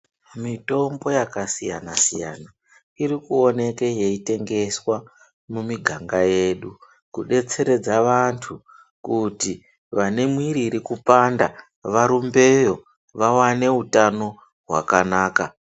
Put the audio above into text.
Mitombo yakasiyana siyana, irikuoneke yeyitengeswa, mumiganga yedu kudetseredza vantu kuti vane mumwiri irikupanda varumbeyo vawane hutano hwakanaka.